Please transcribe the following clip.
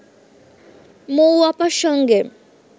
মৌ আপার সঙ্গে